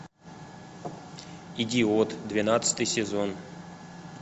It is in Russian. идиот двенадцатый сезон